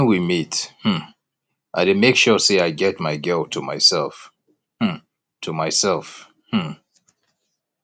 when we meet um i dey make sure say i get my girl to myself um to myself um